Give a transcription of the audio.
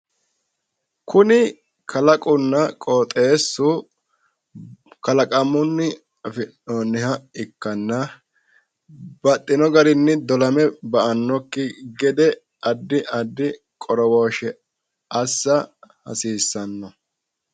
Kuni kalaqamunna qooxessu, kalaqamunni afi'noonniha ikkanna baxxino garinni dolame ba"annokki gede addi addi qorowooshshe assa hasiissanno.